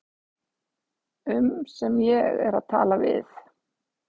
um sem ég er að tala við.